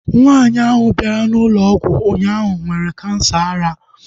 Nwaanyi ahu bịara na ụlọ ọgwụ ụnyaahụ nwee kansa ara